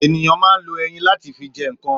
Ènìyàn ma ń lo eyín láti fi jẹ ǹkan